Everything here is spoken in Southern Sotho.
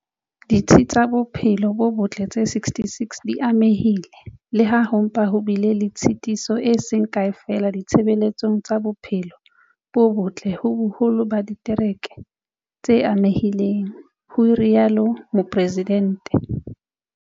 Ditsi tsa bophelo bo botle tse 66 di amehile, le ha ho mpa ho bile le tshitiso e seng kae feela ditshebeletsong tsa bophelo bo botle ho boholo ba ditereke tse amehileng, ho rialo Mopresidente.